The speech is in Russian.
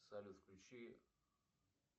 салют включи